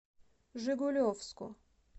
жигулевску